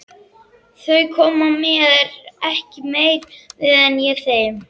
Þau koma mér ekki meira við en ég þeim